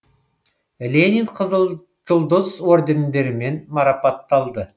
ленин қызыл жұлдыз ордендерімен марапатталды